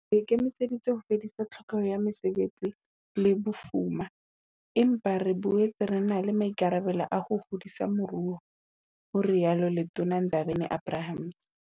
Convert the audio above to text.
Re ikemiseditse ho fedisa tlhokeho ya mesebetsi le bofuma, empa re boetse re na le maikarabelo a ho hodisa moruo, ho rialo Letona Ndabeni-Abrahams.